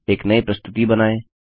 एक नयी प्रस्तुति बनाए